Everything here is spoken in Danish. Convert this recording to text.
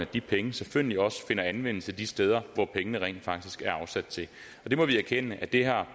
de penge selvfølgelig også finder anvendelse de steder som pengene rent faktisk er afsat til vi må erkende at det har